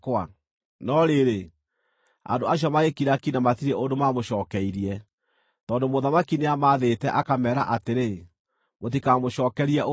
No rĩrĩ, andũ acio magĩkira ki na matirĩ ũndũ maamũcookeirie, tondũ mũthamaki nĩamathĩte, akameera atĩrĩ, “Mũtikamũcookerie ũndũ.”